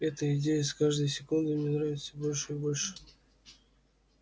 эта идея с каждой секундой мне нравилась всё больше и больше